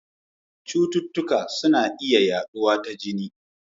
Cututtuka yana iya yaduwa ta jini.